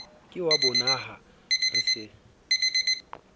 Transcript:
ke wa bonaha re se